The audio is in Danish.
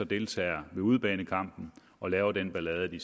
deltager ved udebanekampen og laver den ballade de